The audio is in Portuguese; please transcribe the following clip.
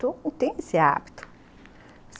Eu não tenho esse hábito.